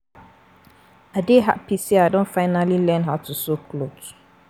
I dey happy say I don finally learn how to sew cloth